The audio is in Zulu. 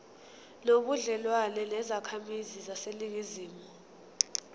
nobudlelwane nezakhamizi zaseningizimu